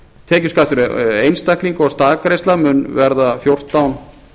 tekjuskattur einstaklinga og staðgreiðsla mun verða fjórtán